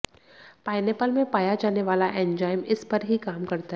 pineapple में पाया जाने वाला एंजाइम इस पर ही काम करता है